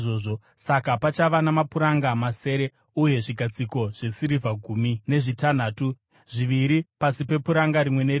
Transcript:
Saka pachava namapuranga masere uye zvigadziko zvesirivha gumi nezvitanhatu, zviviri pasi pepuranga rimwe nerimwe.